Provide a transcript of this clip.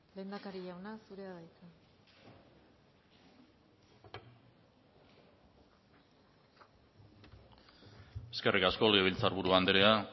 lehendakari jauna zurea da hitza eskerrik asko legebiltzar buru andrea